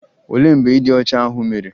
Olee mgbe ịdị ọcha ahụ mere?